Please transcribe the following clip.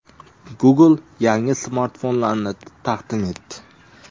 Google yangi smartfonlarini taqdim etdi.